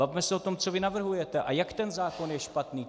Bavme se o tom, co vy navrhujete a jak ten zákon je špatný!